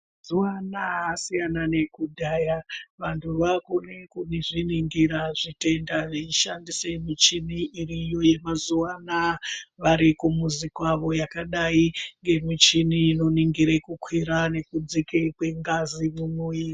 Mazuvanaya asiyana nekudhaya vantu vakuzviningira zvitenda veishandisa michini iriko yemazuvaanaya varikumuzi kwavo yakadayi ngemichini inoningire kukwira nekudzika kwengazi mumwiiri.